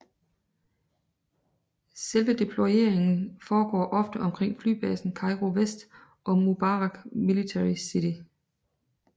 Selve deployeringen foregår ofte omkring flybasen Cairo West og Mubarak Military City